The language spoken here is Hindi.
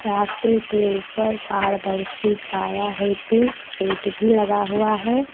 रास्ते के ऊपर पारदर्शी छाया हेतु शेड भी लगा हुआ है।